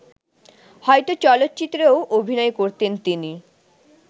হয়ত চলচ্চিত্রেও অভিনয় করতেন তিনি